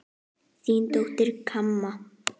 Þín dóttir, Kamma.